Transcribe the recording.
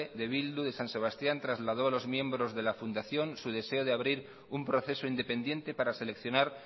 de bildu de san sebastián trasladó a los miembros de la fundación su deseo de abrir un proceso independiente para seleccionar